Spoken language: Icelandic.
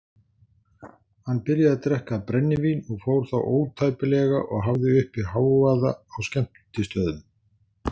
Hann byrjaði að drekka brennivín og fór þá ótæpilega og hafði uppi hávaða á skemmtistöðum.